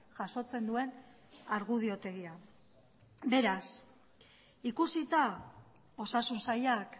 jasotzen duen argudiotegia beraz ikusita osasun sailak